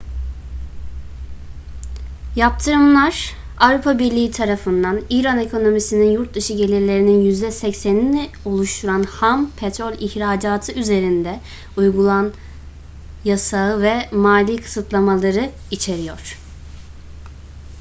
yaptırımlar avrupa birliği tarafından i̇ran ekonomisinin yurt dışı gelirlerinin %80'ini oluşturan ham petrol ihracatı üzerinde uygulan yasağı ve mali kısıtlamaları içeriyor